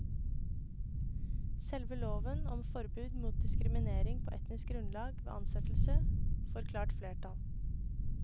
Selve loven om forbud mot diskriminering på etnisk grunnlag ved ansettelse får klart flertall.